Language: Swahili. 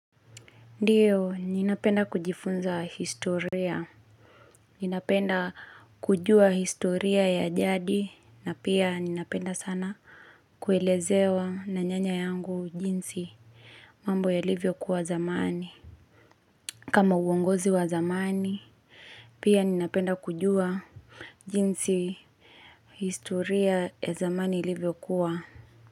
Ndiyo ninapenda kujifunza historia, ninapenda kujua historia ya jadi na pia ninapenda sana kuelezewa na nyanya yangu jinsi mambo yalivyo kuwa zamani. Kama uongozi wa zamani, pia ninapenda kujua jinsi historia ya zamani ilivyokuwa.